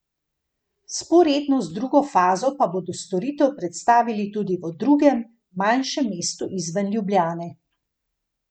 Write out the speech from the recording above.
Vzporedno z drugo fazo pa bodo storitev predstavili tudi v drugem, manjšem mestu izven Ljubljane.